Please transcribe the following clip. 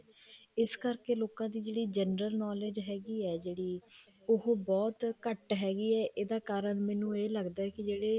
ਇਸ ਕਰਕੇ ਲੋਕਾਂ ਦੀ ਜਿਹੜੀ general knowledge ਹੈਗੀ ਹੈ ਜਿਹੜੀ ਉਹ ਬਹੁਤ ਘੱਟ ਹੈਗੀ ਹੈ ਇਹਦਾ ਕਾਰਨ ਮੈਨੂੰ ਇਹ ਲੱਗਦਾ ਵੀ ਜਿਹੜੇ